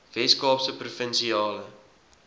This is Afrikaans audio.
wes kaapse provinsiale